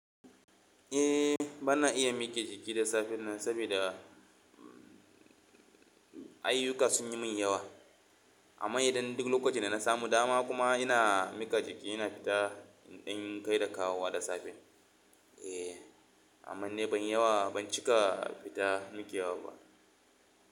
Eh bana iya miƙe jiki da safe nan saboda ayyuka sun yi min yawa. Amma idan duk lokacin da nasamu dama kuma ina miƙa jiki ina fita in kai da kawowa da safe. Eh, amma dai ban cika fita miƙewa ba.